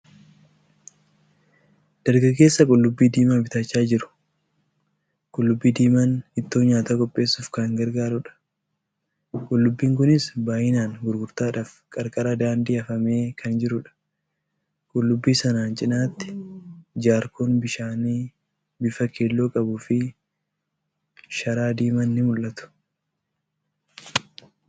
Dargaggeessa qullubbii diimaa bitachaa jiru. Qullubbii diimaan ittoo nyaataa qopheessuuf kan gargaarudha. Qullubbiin kunis baay'inaan gurgurtaadhaaf qarqara daandii afamee kan jirudha. Qullubbii sanaan cinaatti jaarkoon bishaanii bifa keelloo qabuu fi sharaa diimaan ni mul'atu.